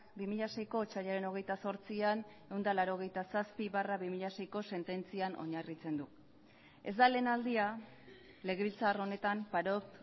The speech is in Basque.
bi mila seiko otsailaren hogeita zortzian ehun eta laurogeita zazpi barra bi mila seiko sententzian oinarritzen du ez da lehen aldia legebiltzar honetan parot